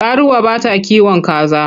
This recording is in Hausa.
Karuwa bata kiwon kaza.